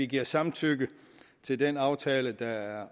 give samtykke til den aftale der er